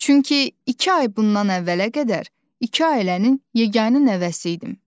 Çünki iki ay bundan əvvələ qədər iki ailənin yeganə nəvəsi idim.